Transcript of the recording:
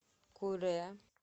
куре